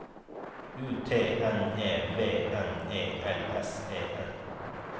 U T N E V N E L S E N